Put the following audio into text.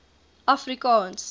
afrikaans